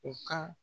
U ka